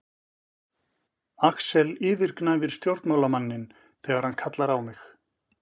Axel yfirgnæfir stjórnmálamanninn þegar hann kallar á mig.